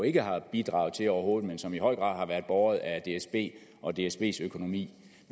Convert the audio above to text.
ikke har bidraget til overhovedet men som i høj grad har været båret af dsb og dsbs økonomi